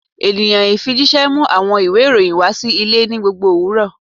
Eniyan ifijiṣẹ mu awọn iwe iroyin wa si ile ni gbogbo owurọ